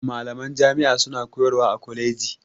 Malaman jami'a suna koyarwa a kwaleji